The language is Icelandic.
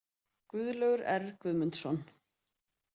Guðlaugur R Guðmundsson.